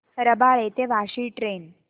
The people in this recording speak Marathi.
रबाळे ते वाशी ट्रेन